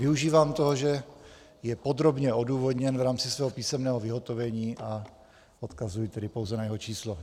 Využívám toho, že je podrobně odůvodněn v rámci svého písemného vyhotovení, a odkazuji tedy pouze na jeho číslo.